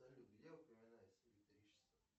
салют где упоминается электричество